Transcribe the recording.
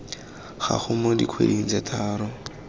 gago mo dikgweding tse tharo